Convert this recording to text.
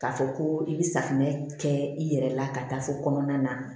K'a fɔ ko i bɛ safunɛ kɛ i yɛrɛ la ka taa fo kɔnɔna na